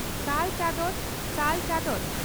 ᱥᱟᱞ ᱪᱚᱫᱚᱱ ᱥᱟᱞ ᱪᱚᱫᱫᱚᱱ